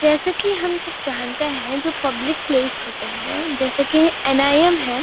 जैसे की हम सब जानते है कि जो पोपले प्लेस होते हैं जैसा कि अन आई एम है --